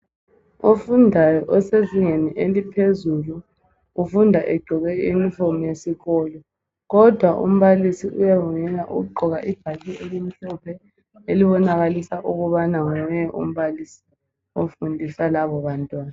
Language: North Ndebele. Ofundayo osezingeni eliphezulu ufunda egqoke iyunifomu yesikolo kodwa umbalisi uyavunyelwa ukugqoka ibhatshi elimhlophe elibonakalisa ukubana nguye umbalisi ofundisa labo bantwana.